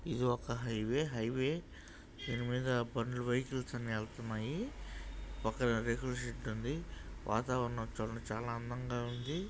ఇది ఒక highway highway దీని మీద బండ్లు వెహికల్స్ అన్ని వెళ్తున్నాయి ఒక రేకుల షెడ్ ఉందివాతావరణం చూడండి చాలా అందంగా ఉంది.